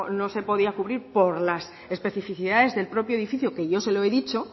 no se podía cubrir por las especificidades del propio edificio que yo se lo he dicho